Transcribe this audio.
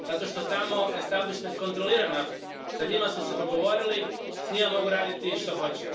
Zato što tamo establišment kontrolira naftu, s njima su se dogovorili, s njima mogu raditi što hoće.